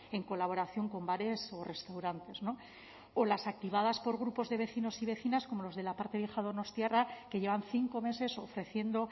en colaboración con bares o restaurantes o las activadas por grupos de vecinos y vecinas como los de la parte vieja donostiarra que llevan cinco meses ofreciendo